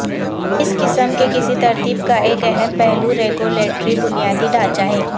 اس قسم کے کسی ترتیب کا ایک اہم پہلو ریگولیٹری بنیادی ڈھانچہ ہے